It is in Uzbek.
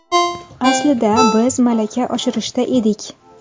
Aslida biz malaka oshirishda edik.